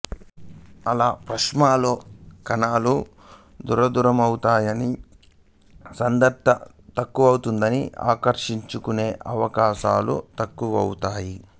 అలా ప్లాస్మాలో కణాలు దూరదూరమవుతాయి సాంద్రత తక్కువవుతుంది ఆకర్షించుకునే అవకాశాలు తక్కువవుతాయి